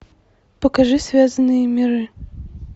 покажи связанные миры